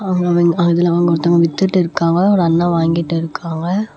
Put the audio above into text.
அங்க வந் அதுல அவுங்க ஒருத்தங்க வித்துட்டு இருக்காங்க ஒரு அண்ணா வாங்கிட்டு இருக்காங்க.